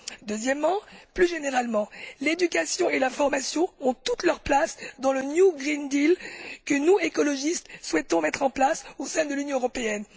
Deuxièmement, plus généralement, l'éducation et la formation ont toute leur place dans le Green New Deal que nous écologistes, souhaitons mettre en place au sein de l'Union européenne.